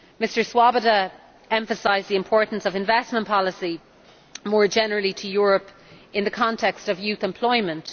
Mr Swoboda emphasised the importance of investment policy more generally in Europe in the context of youth employment.